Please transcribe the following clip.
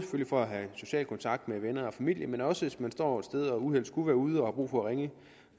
for at have social kontakt med venner og familie men også hvis man står et sted og uheldet skulle være ude og brug for at ringe